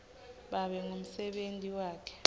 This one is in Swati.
babe ngumsebenti wakhe